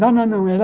Não, não, não. Era